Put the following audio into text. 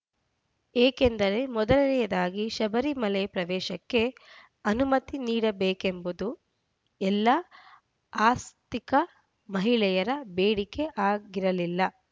ಏಕೆಂದರೆ ಮೊದಲನೆಯದಾಗಿ ಶಬರಿಮಲೆ ಪ್ರವೇಶಕ್ಕೆ ಅನುಮತಿ ನೀಡಬೇಕೆಂಬುದು ಎಲ್ಲ ಆಸ್ತಿಕ ಮಹಿಳೆಯರ ಬೇಡಿಕೆ ಆಗಿರಲಿಲ್ಲ